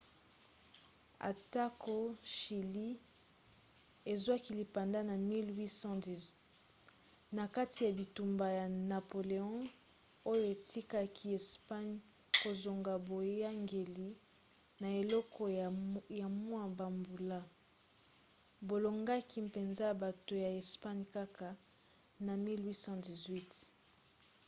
atako chilie ezwaki lipanda na 1810 na kati ya bitumba ya napoléon oyo etikaki espagne kozanga boyangeli na eleko ya mwa bambula bolongaki mpenza bato ya espagne kaka na 1818